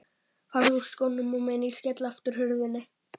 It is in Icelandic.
Farðu úr skónum á meðan ég skelli aftur hurðinni.